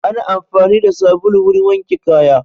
Ana amfani da sabulu wurin wanke kaya